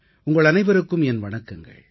உங்கள் அனைவருக்கும் என் வணக்கங்கள்